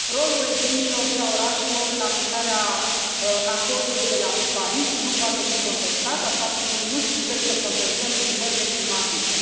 Rolul regiunilor și al orașelor în aplicarea acordului de la Paris nu poate fi contestat, așa cum nu putem să contestăm schimbările climatice.